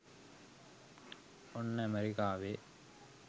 ඔන්න ඇමරිකාවේ